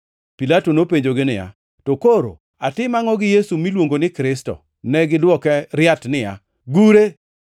Pilato nopenjogi niya, “To koro atim angʼo gi Yesu miluongo ni Kristo?” Negidwoke riat niya, “Gure!”